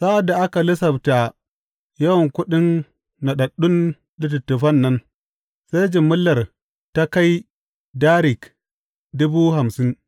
Sa’ad da aka lissafta yawan kuɗin naɗaɗɗun littattafan nan, sai jimillar ta kai darik dubu hamsin.